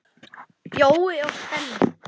Jói og Denni.